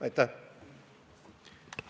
Aitäh!